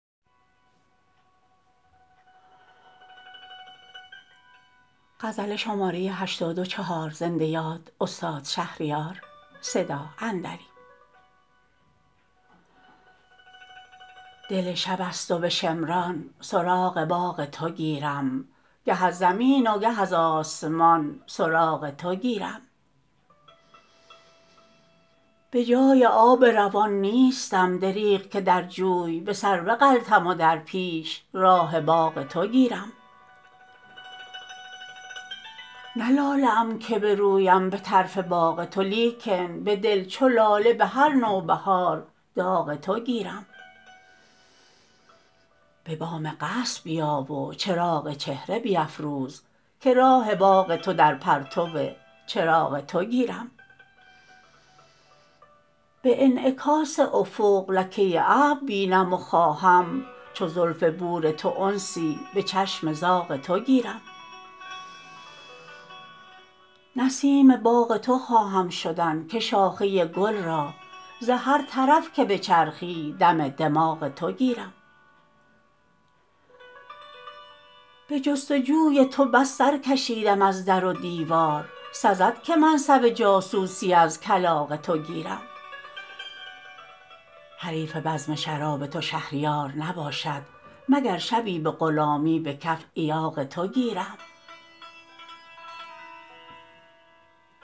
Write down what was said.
دل شبست و به شمران سراغ باغ تو گیرم گه از زمین و گه از آسمان سراغ تو گیرم به جای آب روان نیستم دریغ که در جوی به سر بغلطم و در پیش راه باغ تو گیرم نه لاله ام که برویم به طرف باغ تو لیکن به دل چو لاله بهر نوبهار داغ تو گیرم به بام قصر بیا و چراغ چهره بیفروز که راه باغ تو در پرتو چراغ تو گیرم به انعکاس افق لکه ابر بینم و خواهم چو زلف بور تو انسی به چشم زاغ تو گیرم نسیم باغ تو خواهم شدن که شاخه گل را ز هر طرف که بچرخی دم دماغ تو گیرم به جستجوی تو بس سرکشیدم از در و دیوار سزد که منصب جاسوسی از کلاغ تو گیرم حریف بزم شراب تو شهریار نباشد مگر شبی به غلامی به کف ایاغ تو گیرم